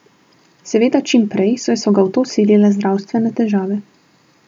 Seveda čim prej, saj so ga v to silile zdravstvene težave.